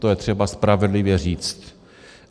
To je třeba spravedlivě říct.